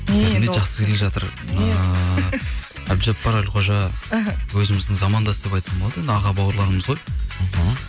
жақсы келе жатыр ыыы әбдіжаппар әлқожа іхі өзіміздің замандас деп айтсам болады енді аға бауырларымыз ғой мхм